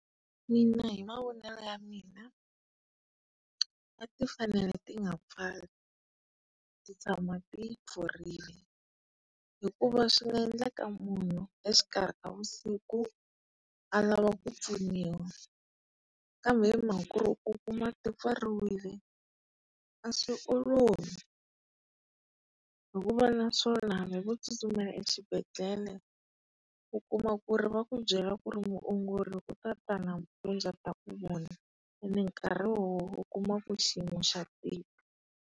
Mina hi mavonele ya mina, a tifanele ti nga pfali, ti tshama ti pfurile. Hikuva swi nga endleka munhu exikarhi ka vusiku a lava ku pfuniwa. Kambe hi mhaka ku u kuma ti pfariwile a swi olovi. Hikuva naswona hambi vo tsutsumela exibedhlele u kuma ku ri va ku byela ku ri muongori u ta ta nampundzu a ta ku vona, ene nkarhi lowu u kuma ku xiyimo xa tika.